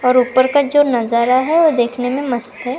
और ऊपर का जो नजारा है वो देखने में मस्त है।